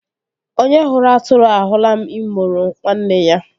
Onye hụrụ atụrụ ahụla imoro nwanne ya